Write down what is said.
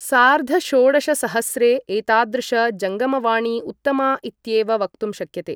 सार्धषोडशसहस्रे एतादृश जङ्गमवाणी उत्तमा इत्येव वक्तुं शक्यते ।